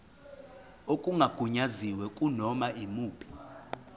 okungagunyaziwe kunoma yimuphi